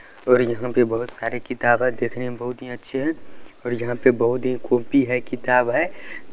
और यहाँ पे बहुत सारे किताब हैं देखने में बहुत ही अच्छे हैं और यहाँ पे बहुत ही कॉपी है किताब है।